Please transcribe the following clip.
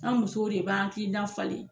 An musow de b'an hakilina falen